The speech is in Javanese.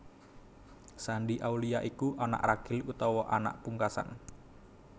Shandy Aulia iku anak ragil utawa anak pungkasan